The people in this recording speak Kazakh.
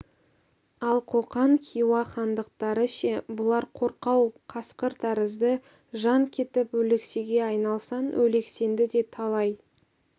ал қоқан хиуа хандықтары ше бұлар қорқау қасқыр тәрізді жан кетіп өлексеге айналсаң өлексеңді де талай